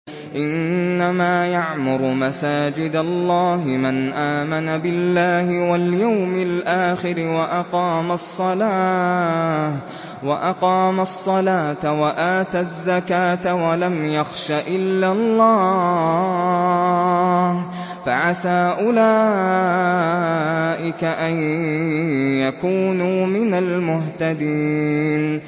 إِنَّمَا يَعْمُرُ مَسَاجِدَ اللَّهِ مَنْ آمَنَ بِاللَّهِ وَالْيَوْمِ الْآخِرِ وَأَقَامَ الصَّلَاةَ وَآتَى الزَّكَاةَ وَلَمْ يَخْشَ إِلَّا اللَّهَ ۖ فَعَسَىٰ أُولَٰئِكَ أَن يَكُونُوا مِنَ الْمُهْتَدِينَ